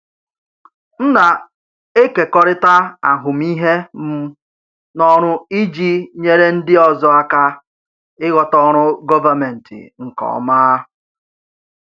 M na-ekekọrịta ahụmịhe m n’ọrụ iji nyere ndị ọzọ aka ịghọta ọrụ gọvanmentị nke ọma.